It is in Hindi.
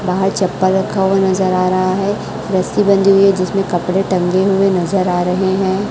बाहर चप्पल रखा हुआ नजर आ रहा है रस्सी बंधी हुई है जिसमें कपड़े टंगे हुए नजर आ रहे हैं।